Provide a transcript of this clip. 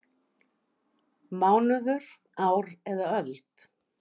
Mánuður, ár eða öld?